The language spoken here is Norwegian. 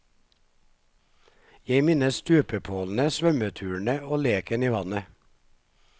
Jeg minnes stupepålene, svømmeturene og leken i vannet.